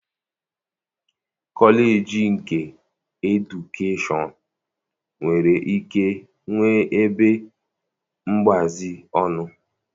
Kọleji nke edukeshọn nwere ike nwee ebe mgbazi ọnụ